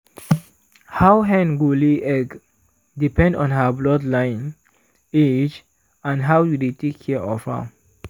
how hen go lay egg depend on her bloodline age and how you dey take care of am.